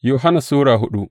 daya Yohanna Sura hudu